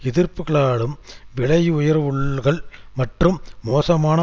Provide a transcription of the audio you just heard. எதிர்ப்புகளாலும் விலையுயர்வுகள் மற்றும் மோசமான